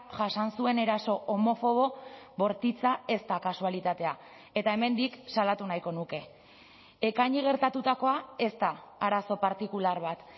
jasan zuen eraso homofobo bortitza ez da kasualitatea eta hemendik salatu nahiko nuke ekaini gertatutakoa ez da arazo partikular bat